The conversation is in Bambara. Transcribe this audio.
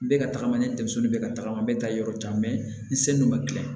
Bɛ ka tagama ni denmisɛnnu bɛ ka tagama n bɛ taa yɔrɔ jan n sen don ma gilan